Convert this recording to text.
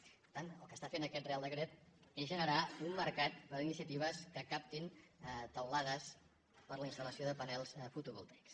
per tant el que fa aquest reial decret és ge·nerar un mercat per a iniciatives que captin teulades per a la instal·lació de panells fotovoltaics